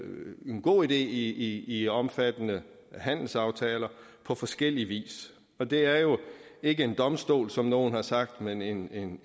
en god idé i i omfattende handelsaftaler på forskellig vis og det er jo ikke en domstol som nogle har sagt men en